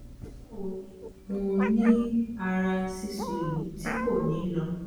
bawo ni mo ni ara sisu yi ti ko ni lọ